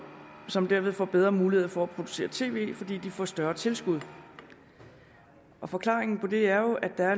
som derved får bedre mulighed for at producere tv fordi de får større tilskud forklaringen på det er jo at der er